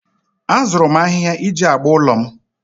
Azụrụ m ahịhịa iji agba ụlọ m